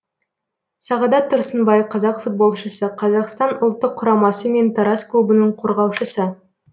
сағадат тұрсынбай қазақ футболшысы қазақстан ұлттық құрамасы мен тараз клубының қорғаушысы